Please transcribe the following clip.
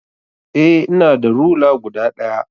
Eh ina da rula guda daya.